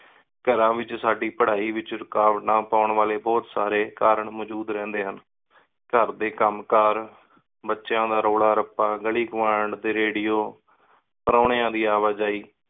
ਘਰਾਂ ਏਚ ਸਾਡੀ ਪਢ਼ਾਈ ਏਚ ਰਾਕਾਵਤ ਪਾਨ ਵਾਲੀ ਬੋਹਤ ਸਾਰੀ ਕਾਰਨ ਮੋਜੂਦ ਰੇਹੰਡੀ ਸਨ ਘਰ ਡੀ ਕਾਮ ਕਰ ਬਚਯਾ ਦਾ ਰੋਲਾ ਰੱਪਾ ਗਾਲੀ ਪੋਇੰਟ ਟੀ ਰਡਿਓ ਪਾਰੋੰਯਾ ਦੀ ਅਵਾ ਜੈ